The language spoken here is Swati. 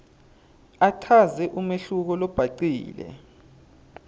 achaze umehluko lobhacile